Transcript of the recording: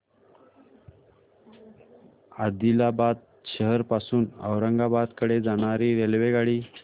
आदिलाबाद शहर पासून औरंगाबाद कडे जाणारी रेल्वेगाडी